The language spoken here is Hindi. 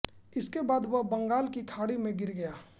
इसके बाद वह बंगाल की खाड़ी में गिर गया